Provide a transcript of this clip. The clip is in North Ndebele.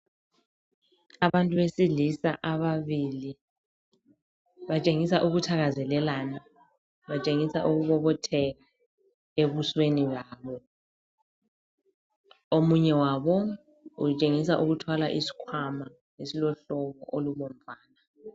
Abantu besilisa ababili, batshengisa ukuthakazelelana, batshengisa ukubobotheka ebusweni babo. Omunye wabo utshengisa ukuthwala isikhwama esilohlobo olubomvana.